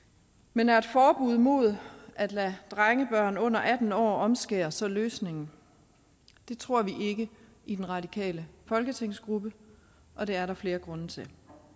men er et forbud mod at lade drengebørn under atten år omskære så løsningen det tror vi ikke i den radikale folketingsgruppe og det er der flere grunde til